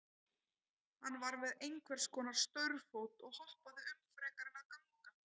Hann var með einhvers konar staurfót og hoppaði um frekar en að ganga.